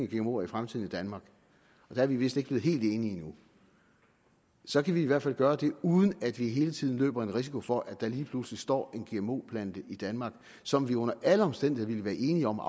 gmoer i fremtiden i danmark der er vi vist ikke blevet helt enige endnu så kan vi i hvert fald gøre det uden at vi hele tiden løber en risiko for at der lige pludselig står en gmo plante i danmark som vi under alle omstændigheder ville være enige om at